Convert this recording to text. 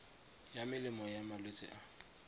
ya melemo ya malwetse a